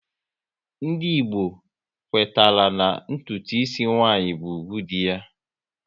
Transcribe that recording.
Ndị Igbo kwetara na ntụtu ịsị nwaanyị bụ ugwu dị ya